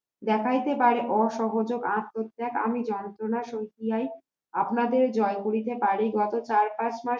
দেখাইতে পারে অসহযোগ আত্মত্যাগ আমি যন্ত্রণা সোজাই আপনাদের জয় করিতে পারে, গত চার পাঁচ মাস